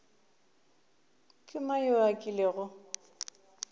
ke mang yo a kilego